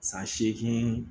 San seegin